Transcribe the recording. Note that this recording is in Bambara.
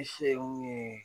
I se ye mun ye